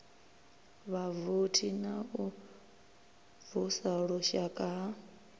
vhavothi na u vusuluswa ha